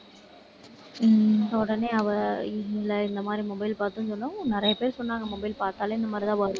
உம் உடனே அவ இல்லை, இந்த மாதிரி mobile பார்த்தேன்னு சொன்னதும், நிறைய பேர் சொன்னாங்க mobile பார்த்தாலே இந்த மாதிரிதான் வரும்.